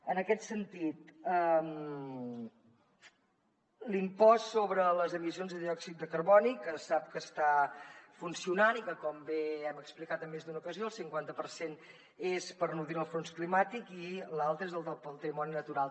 en aquest sentit l’impost sobre les emissions de diòxid de carboni que sap que està funcionant i que com bé hem explicat en més d’una ocasió el cinquanta per cent és per nodrir el fons climàtic i l’altre és el del patrimoni natural